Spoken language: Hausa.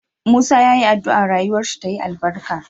Musa yayi adua rayuwar shi tayi albarka